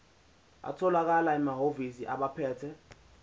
atholakala emahhovisi abaphethe